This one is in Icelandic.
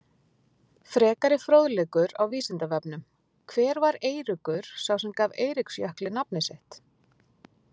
Frekari fróðleikur á Vísindavefnum: Hver var Eiríkur sá sem gaf Eiríksjökli nafnið sitt?